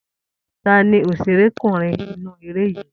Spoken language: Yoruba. Ta ni òṣèrekúnrin inú eré yìí?